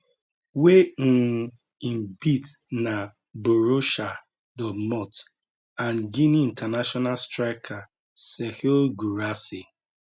wey um im beat na borussia dortmund and guinea international striker serhou guirassy